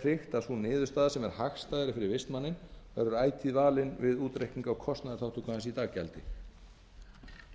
tryggt að sú niðurstaða sem er hagstæðari fyrir vistmanninn verður ætíð valin við útreikning á kostnaðarþátttöku hans í daggjaldi